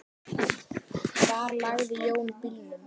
Hvar lagði Jón bílnum?